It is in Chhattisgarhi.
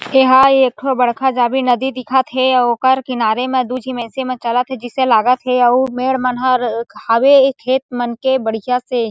एहाँ एकठो बड़का जाबे नदी दिखत हे आऊ ओकर किनारे में दू झी में से मा चलत हे जैसे लागत हे अउ मेढ़ मन ह र हावे खेत मन के बढ़िया से --